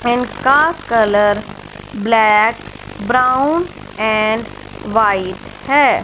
Pen का colour black brown and white है।